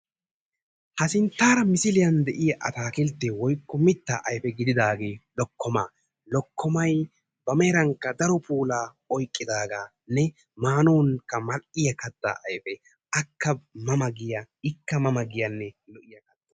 Ha sinttara misiliyan deiya atakkilte woykko miitta ayfe gididaga lokkomaa. Lokkomaay ba meerankka daro puulaa oyqqidaganne maanawukka mal''iya kattaa ayfe. Akka ma maa giya ikka ma maa giyane lo''iya kattaa.